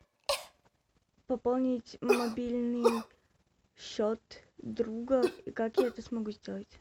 пополнить мобильный счет друга как я это смогу сделать